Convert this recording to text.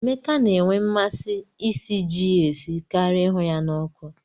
Emeka na-enwe mmasị isi ji ya esi karia ịhụ ya na ọkụ.